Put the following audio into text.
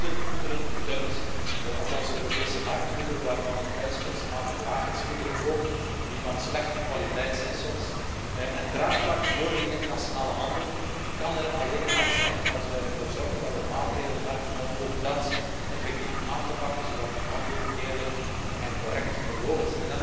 Er worden goederen gedumpt op onze Europese markt waarvan de prijs kunstmatig laag is, goederen ook die van slechte kwaliteit zijn soms. En draagvlak voor die internationale handel kan er alleen maar zijn als wij ervoor zorgen dat we maatregelen hebben om ook dat effectief aan te pakken, zodat die handel eerlijk en correct verloopt.